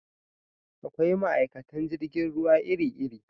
Akwai ma'aikatan jirgin ruwa iri iri